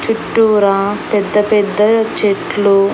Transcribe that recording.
చుట్టూరా పెద్ద పెద్ద చెట్లు.